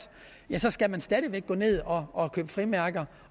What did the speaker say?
skal man stadig væk gå ned og og købe frimærker